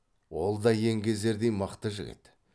ол да еңгезердей мықты жігіт